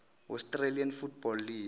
australian football league